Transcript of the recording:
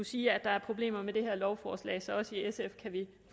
siger at der er problemer med det her lovforslag så også i sf kan vi